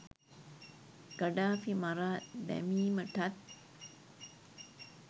Gaddafi මරා දැමීමටත්